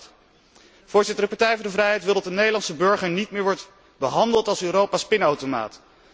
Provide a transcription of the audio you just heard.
2008. De Partij voor de vrijheid wil dat de Nederlandse burger niet meer wordt behandeld als Europa's pinautomaat.